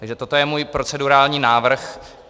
Takže toto je můj procedurální návrh.